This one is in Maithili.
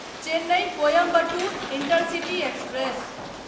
Chennai Coimbatore intercity express